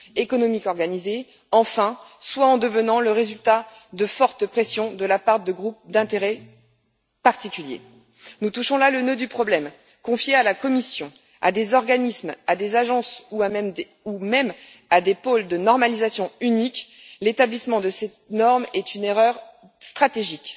économique organisée, enfin, soit en devenant le résultat de fortes pressions de la part de groupes d'intérêts particuliers. Nous touchons là le nœud du problème confier à la Commission, à des organismes, à des agences ou même à des pôles de normalisation unique l'établissement de ces normes est une erreur stratégique.